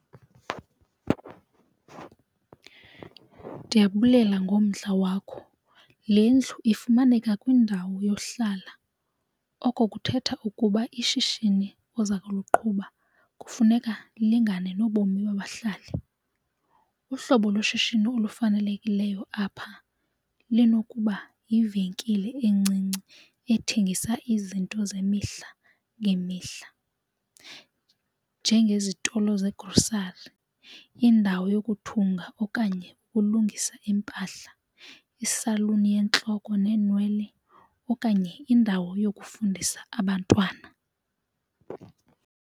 Ndiyabulela ngomdla wakho. Le ndlu ifumaneka kwindawo yohlala, oko kuthetha ukuba ishishini oza kuliqhuba kufuneka lilingane nobomi babahlali. Uhlobo loshishino olufanelekileyo apha linokuba yivenkile encinci ethengisa izinto zemihla ngemihla, njengezitolo zegrosari indawo yokuthunga, okanye ukulungisa iimpahla isaluni yentloko neenwele okanye indawo yokufundisa abantwana.